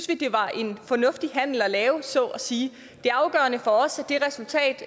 vi det var en fornuftig handel at lave så at sige det afgørende for os er det resultat